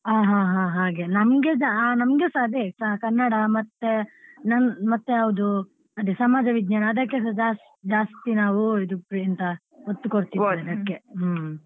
ಹಾ ಹಾ ಹಾ ಹಾಗೆ ನಮ್ಗೆ ಸಾ ನಮ್ಗೆ ಸಾ ಅದೇ ಕನ್ನಡ ಮತ್ತೆ ನನ್~ ಮತ್ತೆ ಯಾವ್ದು ಅದೇ ಸಮಾಜ ವಿಜ್ಞಾನ ಅದಕ್ಕೆಸ ಜಾಸ್~ ಜಾಸ್ತಿ ನಾವು ಇದು ಎಂಥ ಒತ್ತು ಕೊಡ್ತೀವಿ ಹ್ಮ್‌.